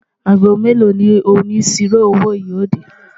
àgó mélò ní òní síró owó yo dé?